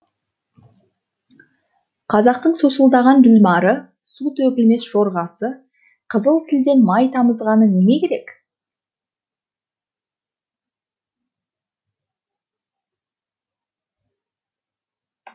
қазақтың сусылдаған ділмары су төгілмес жорғасы қызыл тілден май тамызғаны неме керек